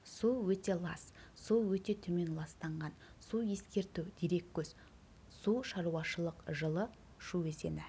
су өте лас су өте төмен ластанған су ескерту дереккөз су шаруашылық жылы шу өзені